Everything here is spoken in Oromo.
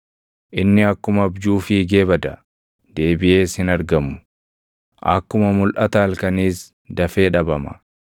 Inni akkuma abjuu fiigee bada; deebiʼees hin argamu; akkuma mulʼata halkaniis dafee dhabama.